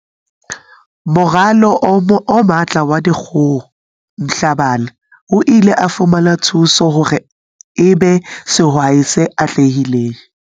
Moralo o Matla wa Dikgoho Mhlabane o ile a fumana thuso hore e be sehwai se atlehileng.